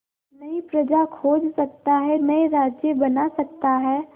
नई प्रजा खोज सकता है नए राज्य बना सकता है